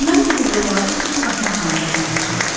Mən bu qızılları süd satmaqla qazanmışam.